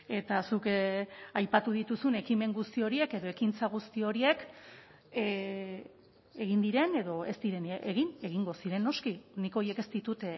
eta zuk aipatu dituzun ekimen guzti horiek edo ekintza guzti horiek egin diren edo ez diren egin egingo ziren noski nik horiek ez ditut